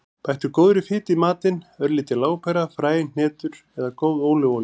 Bættu góðri fitu í matinn; örlítil lárpera, fræ, hnetur eða góð ólífuolía.